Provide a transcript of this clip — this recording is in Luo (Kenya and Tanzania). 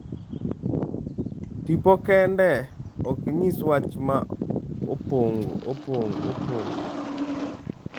Tipo kende ok nyis wach ma opong'o."